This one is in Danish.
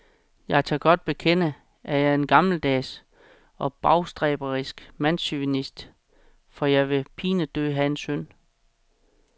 Jeg tør godt bekende, at jeg er en gammeldags og bagstræberisk mandschauvinist, for jeg vil pinedød have en søn.